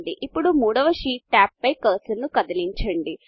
ఇప్పుడు మూడవ sheet tab పై కర్సర్ను కదిలించండి